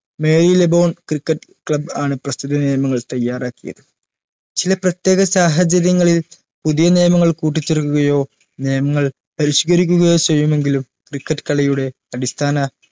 മേൽ Laboon cricket club ആണ് പ്രസ്തുത നിയമങ്ങൾ തയ്യാറാക്കിയത് ചില പ്രത്യേക സാഹചര്യങ്ങളിൽ പുതിയ നിയമങ്ങൾ കൂട്ടിച്ചേർക്കുകയോ നിയമങ്ങൾ പരിഷ്കരിക്കുകയോ ചെയ്യുമെങ്കിലും cricket കളിയുടെ അടിസ്ഥാന